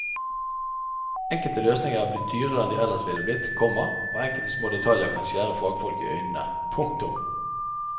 Enkelte løsninger er blitt dyrere enn de ellers ville blitt, komma og enkelte små detaljer kan skjære fagfolk i øynene. punktum